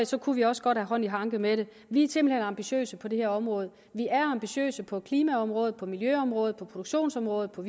så kunne vi også godt have hånd i hanke med det vi er simpelt hen ambitiøse på det her område vi er ambitiøse på klimaområdet på miljøområdet på produktionsområdet på